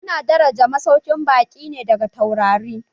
Ana daraji masaukin baƙi ne daga taurari